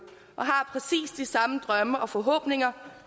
og har præcis de samme drømme og forhåbninger